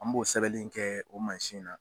An b'o sɛbɛli in kɛɛ o mansin na